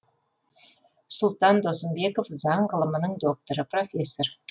сұлтан досымбеков заң ғылымының докторы профессор